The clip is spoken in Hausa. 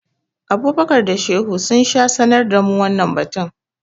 Abubakar da Shehu sha sanar da mu wannan batu.